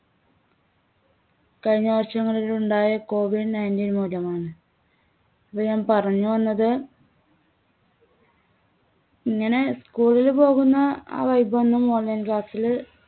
കഴിഞ്ഞ വർഷം മുതലുണ്ടായ കോവിഡ് nineteen മൂലമാണ്. ഞാൻ പറഞ്ഞുവന്നത് ഇങ്ങനെ school ൽ പോകുന്ന ആ vibe ഒന്നും online class ൽ